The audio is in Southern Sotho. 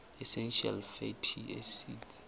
essential fatty acids